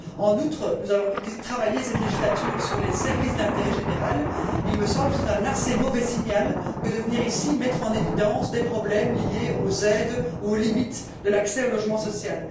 En outre, nous allons travailler, au cours de cette législature, sur les services d'intérêt général. Il me semble que c'est donner un assez mauvais signal que de venir ici mettre en évidence des problèmes liés aux aides ou aux limites de l'accès au logement social.